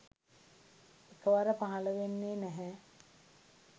එකවර පහළ වෙන්නේ නැහැ.